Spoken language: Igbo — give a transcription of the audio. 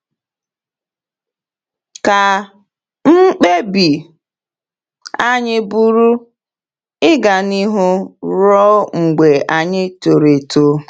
“Ka mkpebi anyị bụrụ ‘ịga n’ihu ruo mgbe anyị toro eto.’”